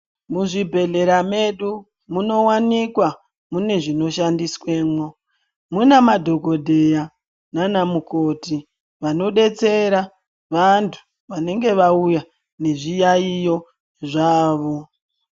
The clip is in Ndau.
Muzvibhedhlera medu munowanikwa mune zvinoshandiswemwo. Mune madhokodheya naanamukoti vanodetsera vantu vanenge vauya nezviyaiyo zvavo.